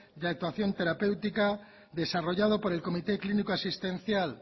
de actuación terapéutica desarrollado por el comité clínico asistencial